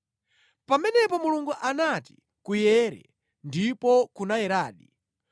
Pamenepo Mulungu anati, “Kuwale” ndipo kunawaladi.